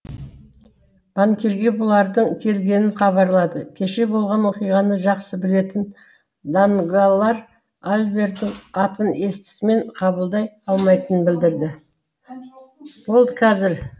банкирге бұлардың келгенін хабарлады кеше болған оқиғаны жақсы білетін данглар альбердің атын естісімен қабылдай алмайтынын білдірді болды қазір